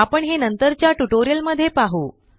आपण हे नंतरच्या ट्यूटोरियल मध्ये पाहु